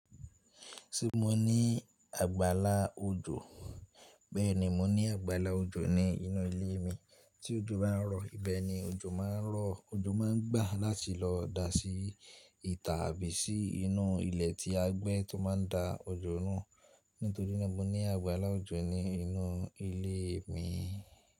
Ṣé mo ní àgbàlá òjò? Bẹ́ẹ̀ni, mo ní àgbàlá òjò ní inú ilé mi. Tí òjò bá ń rọ̀, ibẹ̀ ni òjò má a ń rọ, òjò má ń gbà láti lọ da sí ìta àbí sí inú ilẹ̀ tí a gbẹ́ tó má a ń da òjò náà. Nítorí náà mo ní àgbàlá òjò ní inú ilé mi.